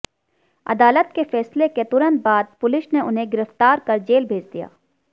अदालत के फैसले के तुरंत बाद पुलिस ने उन्हें गिरफ्तार कर जेल भेज दिया